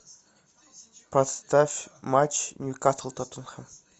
поставь матч ньюкасл тоттенхэм